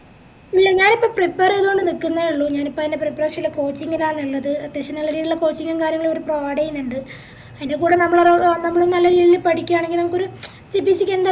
ഇല്ല ഞാനിപ്പോ prepare ചെയ്തോണ്ട് നിക്കുന്നെ ഇള്ളൂ ഞാനിപ്പോ അയിന്റെ preparation ല് coaching ലാണ് ഇള്ളത് അത്യാവശ്യം നല്ല രീതിലുള്ള coaching ഉം കാര്യങ്ങളും ഇവര് provide ചെയ്യുന്നുണ്ട് അയിന്റെ കൂടെ നമ്മളും ഏർ നമ്മളും നല്ല രീതിക്ക് പഠിക്കാനെങ്കിൽ നമുക്കൊരു CPC ന്താ